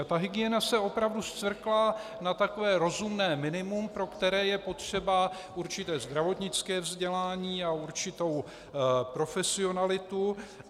A ta hygiena se opravdu scvrkla na takové rozumné minimum, pro které je potřeba určité zdravotnické vzdělání a určitou profesionalitu.